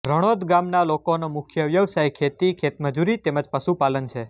રણોદ ગામના લોકોનો મુખ્ય વ્યવસાય ખેતી ખેતમજૂરી તેમ જ પશુપાલન છે